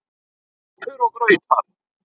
SÚPUR OG GRAUTAR